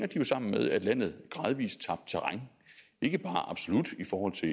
jo sammen med at landet gradvis tabte terræn ikke bare absolut i forhold til